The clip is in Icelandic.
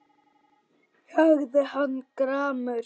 sagði hann gramur.